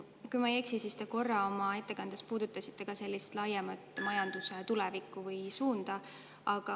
Kui ma ei eksi, siis te korra oma ettekandes puudutasite ka majanduse laiemat tulevikku või suunda.